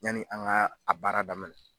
Yani an ŋaa a baara daminɛ